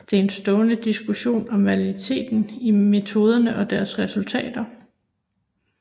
Der er en stående diskussion om validiteten i metoderne og deres resultater